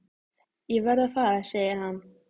Ég verð að fara segir hann.